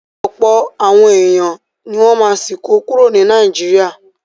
Ọ̀pọ̀ àwọn èèyàn ní wọ́n ma sì kó kúrò ní Naijiria